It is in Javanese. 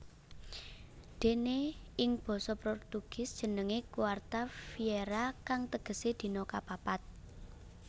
Déné ing basa Portugis jenengé quarta feira kang tegesé dina kapapat